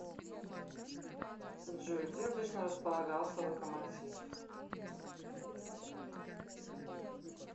джой где обычно располагался локомотив